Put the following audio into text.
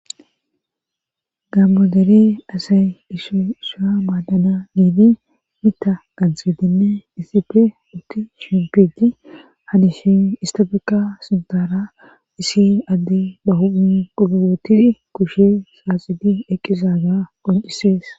gammodeli asay ishoisha maadana niini mita kansedinne isife utti shimpidi hadishin istafeka sintaara isi adde bahuun oootidi kushe saaxidi eqqisa ga qoncisees